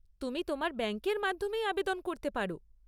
তুমি তোমার ব্যাঙ্কের মাধ্যমেই আবেদন করতে পারো।